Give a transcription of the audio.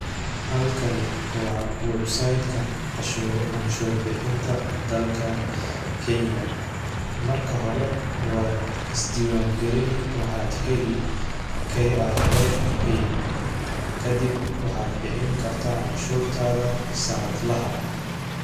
Halkani wa websiteka canshur bihinta dalka Kenya, marka hore wad isdiwan galini waxad heli KRA pin kadib waxad bixin karta canshuurtada sanad lahaa.